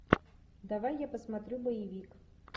давай я посмотрю боевик